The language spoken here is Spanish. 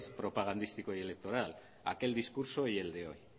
propagandístico y electoral aquel discurso y el de hoy